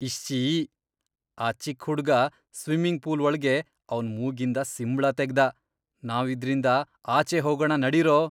ಇಶ್ಶೀ! ಆ ಚಿಕ್ಕ್ ಹುಡ್ಗ ಸ್ವಿಮ್ಮಿಂಗ್ ಪೂಲ್ ಒಳ್ಗೆ ಅವ್ನ್ ಮೂಗಿಂದ ಸಿಂಬ್ಳ ತೆಗ್ದ. ನಾವ್ ಇದ್ರಿಂದ ಆಚೆ ಹೋಗಣ ನಡೀರೋ!